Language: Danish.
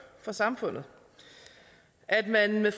for samfundet at man med